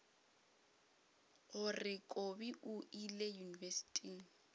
gore kobi o ile yunibesithing